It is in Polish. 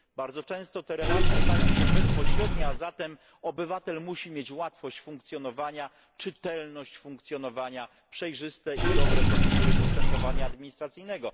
Bardzo często te relacje stają się bezpośrednie, a zatem obywatel musi mieć łatwość funkcjonowania, czytelność funkcjonowania, przejrzyste i dobre procedury postępowania administracyjnego.